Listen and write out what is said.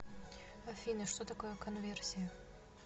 афина что такое конверсия